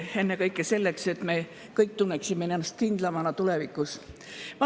Ennekõike selleks, et me kõik tunneksime ennast tulevikus kindlamana.